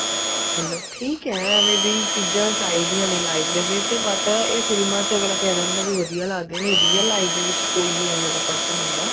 ਮਤਲਬ ਠੀਕ ਹੈ ਏਵੇਂ ਦੀ ਚੀਜ਼ਾਂ ਚਾਹੀਦੀਆਂ ਨੇ life ਦੇ ਵਿੱਚ but ਇਹ ਫ਼ਿਲਮਾ ਚ ਕਿਹਾ ਜਾਂਦਾ ਵੀ ਵਧੀਆ ਲੱਗਦੇ ਨੇ real life ਦੇ ਵਿੱਚ ਕੋਈ ਓ ਏਵੇਂ ਦਾ person ਹੁੰਦਾ